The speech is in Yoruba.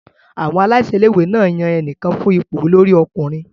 Àwọn aláṣẹ ilé-ìwé yan ẹnìkan fún ipò olórí ọkùnrin.